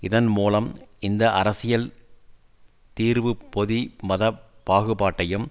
இதன் மூலம் இந்த அரசியல் தீர்வு பொதி மத பாகுபாட்டையும்